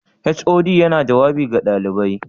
HOD yana jawabi ga ɗalibai?